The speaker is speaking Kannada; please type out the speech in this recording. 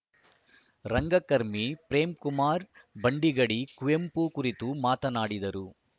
ರಂಗಕರ್ಮಿ ಪ್ರೇಮ್‌ಕುಮಾರ್‌ ಭಂಡಿಗಡಿ ಕುವೆಂಪು ಕುರಿತು ಮಾತನಾಡಿದರು